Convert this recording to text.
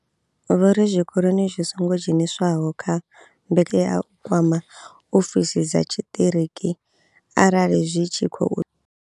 Vho ri zwikolo zwi songo dzheniswaho kha mbekanya vha tea u kwama ofisi dza tshiṱiriki arali zwi tshi khou.